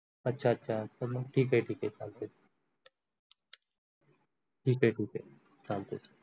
अच्छा अच्छा तर मग ठीक आहे ठीक आहे चालते ठीक आहे ठीक आहे चालते.